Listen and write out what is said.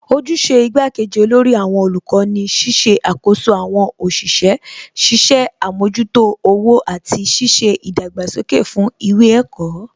Ojúṣe igbá kejì olórí àwọn olùkọ́ ni ṣíṣe àkoso àwọn òṣìṣẹ́, ṣiṣẹ́ àmójútó owó àti ṣíṣe ìdàgbàsókè fún ìwé ẹ̀kọ́